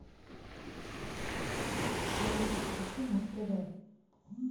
алиса включи муз тв